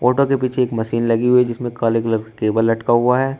Auto के पीछे एक मशीन लगी हुई जिसमें काले कलर केबल लटका हुआ है।